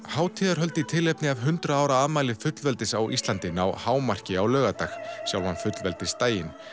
hátíðarhöld í tilefni hundrað ára afmælis fullveldis á Íslandi ná hámarki á laugardag sjálfan fullveldisdaginn